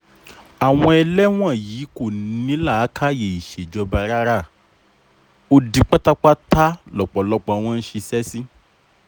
àwọn eléwọ̀nyí kò ní làákàyè ìṣèjọba rárá odi pátápátá lọpọlọ wọn ń ṣiṣẹ́ sí